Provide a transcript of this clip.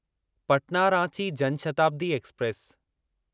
Patna Ranchi Jan Shatabdi express